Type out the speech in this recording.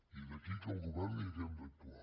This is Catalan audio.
i d’aquí que el govern hi hàgim d’actuar